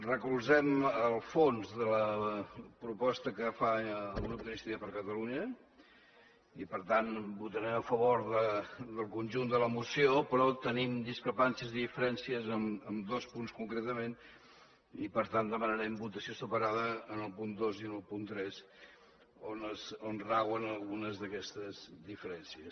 recolzem el fons de la proposta que fa el grup d’iniciativa per catalunya i per tant votarem a favor del conjunt de la moció però tenim discrepàncies i diferències amb dos punts concretament i per tant demanarem votació separada en el punt dos i en el punt tres on rauen algunes d’aquestes diferències